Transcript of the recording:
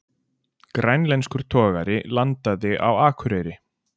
Grænlenskur togari landaði á Akureyri